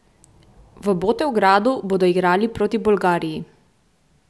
V Botevgradu bodo igrali proti Bolgariji.